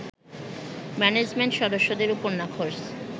management সদস্যদের ওপর নাখোশ